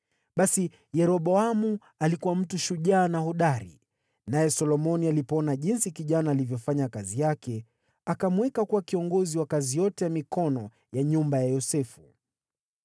Basi Yeroboamu alikuwa mtu shujaa na hodari, naye Solomoni alipoona jinsi kijana alivyofanya kazi yake, akamweka kuwa kiongozi wa kazi yote ya mikono ya nyumba ya Yosefu.